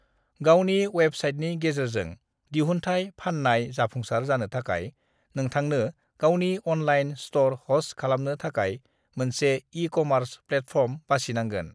"गावनि अवेबसाइटनि गेजेरजों दिहुनथाइ फाननायाव जाफुंसार जानो थाखाय, नोंथांनो गावनि अनलाइन स्ट'र हस्ट खालामनो थाखाय मोनसे ई-कमार्स प्लेटफर्म बासिनांगोन।"